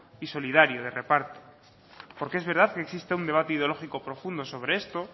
y solidario de reparto porque es verdad que existe un debate ideológico profundo sobre esto